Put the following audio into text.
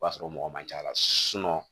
O b'a sɔrɔ mɔgɔ man ca ala